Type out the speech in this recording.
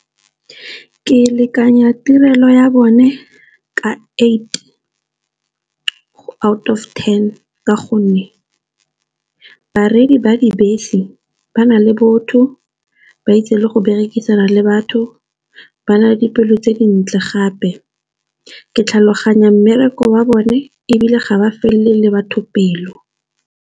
Ke lekanya tirelo ya bone ka eight out of ten. Ka gonne ba dibese ba na le botho ba itse le go berekisana le batho, ba na le dipelo tse dintle gape. Ke tlhaloganya mmereko wa bone ebile ga ba felele batho pelo.